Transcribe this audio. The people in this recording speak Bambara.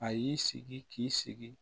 A y'i sigi k'i sigi